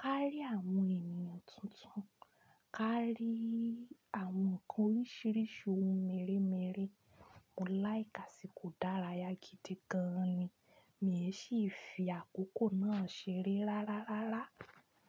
kárí àwọn ènìyàn tuntun, kárí àwọn ǹkan oríṣiríṣi ohun mèremère. Mo laiki asìkò ìdárayá gidi gan ni. Mí è sí fi àkókò náà ṣeré rárárárá.